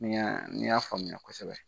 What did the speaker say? N ya, n y'a faamuya kosɛbɛ.